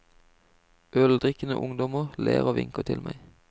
Øldrikkende ungdommer ler og vinker til meg.